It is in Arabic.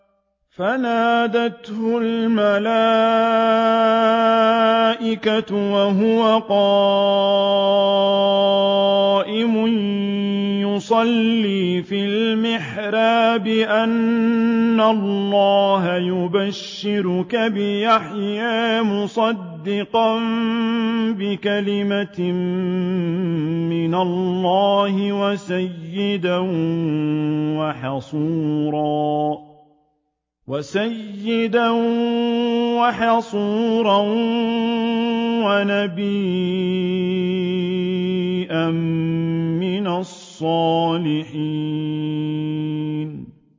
فَنَادَتْهُ الْمَلَائِكَةُ وَهُوَ قَائِمٌ يُصَلِّي فِي الْمِحْرَابِ أَنَّ اللَّهَ يُبَشِّرُكَ بِيَحْيَىٰ مُصَدِّقًا بِكَلِمَةٍ مِّنَ اللَّهِ وَسَيِّدًا وَحَصُورًا وَنَبِيًّا مِّنَ الصَّالِحِينَ